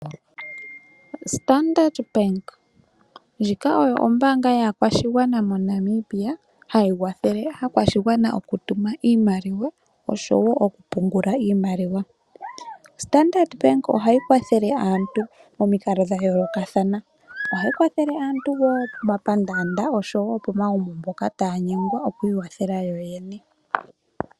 Standard Bank, ndjika oyo ombaanga yaakwashigwana moNamibia hayi kwathele aakwashigwana moku tuma iimaliwa osho wo moku pungula iimaliwa. Standard Bank ohayi kwathele aantu momikalo dha yoolokathana. Ohayi kwathele aantu wo pomapandaanda noshowo pomagumbo mpoka taya nyengwa oku iwathela yoyene.